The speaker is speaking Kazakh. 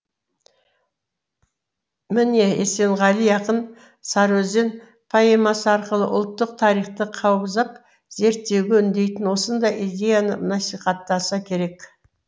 міне есенғали ақын сарыөзен поэмасы арқылы ұлттық тарихты қаузап зерттеуге үндейтін осындай идеяны насихаттаса керек